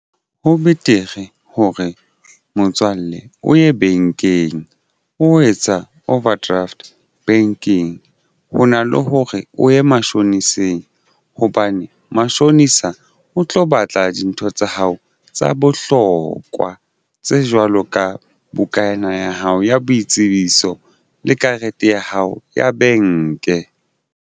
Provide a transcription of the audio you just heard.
Ho betere hore motswalle o ye bankeng o etsa overdraft bankeng ho na le hore o ye mashoniseng hobane mashonisa o tlo batla dintho tsa hao tsa bohlokwa tse jwalo ka bukana ya hao ya boitsebiso le karete ya hao ya benke.